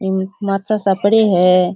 माचा सा पड़े है। --